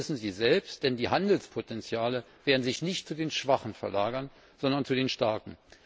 Das wissen Sie selbst, denn die Handelspotenziale werden sich nicht zu den Schwachen verlagern, sondern zu den Starken.